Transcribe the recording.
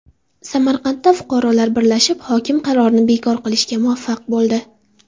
Samarqandda fuqarolar birlashib hokim qarorini bekor qilishga muvaffaq bo‘ldi.